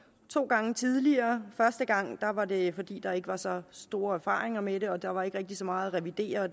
to gange tidligere første gang var det fordi der ikke var så store erfaringer med det og der var ikke rigtig så meget at revidere og